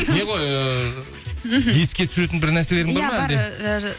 не ғой ыыы мхм еске түсіретін бір нәрселерің